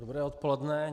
Dobré odpoledne.